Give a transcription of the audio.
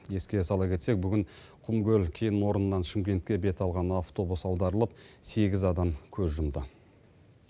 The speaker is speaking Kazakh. еске сала кетсек құмкөл кен орнынан шымкентке бет алған автобус аударылып сегіз адам көз жұмды